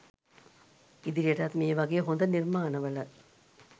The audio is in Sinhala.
ඉදිරියටත් මේ වගේ හොද නිර්මාණ වල